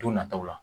Don nataw la